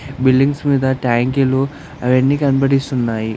Buildings మీద ట్యాంకులు అవన్నీ కనిపడిస్తున్నాయి.